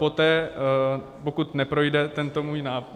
Poté, pokud neprojde tento můj návrh...